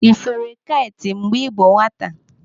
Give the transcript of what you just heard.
Ị fere kait mgbe ị bụ nwata?